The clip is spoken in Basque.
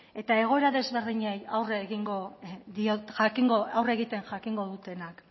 eta egoera desberdinei aurre egiten jakingo dutenak